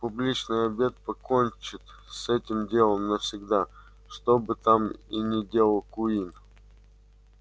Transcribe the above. публичный обед покончит с этим делом навсегда что бы там и ни делал куинн